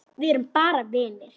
Við erum bara vinir.